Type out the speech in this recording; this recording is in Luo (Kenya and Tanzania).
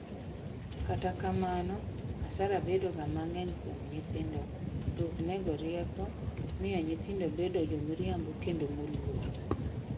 kata kamano, asara bedo ga mang'eny kuom nyithindo; luth nego rieko ,miyo nyithindo bedo jomiriambo kendo moluor